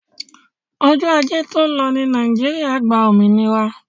Ọjọ́ ajé to lọ ní ilẹ́ Nàìjíríà gba òmìnira.